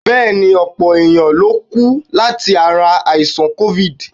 Bẹ́ẹ̀ ni, ọ̀pọ̀ èèyàn lókú láti ara àìsàn COVID.